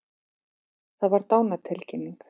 Það var dánartilkynning.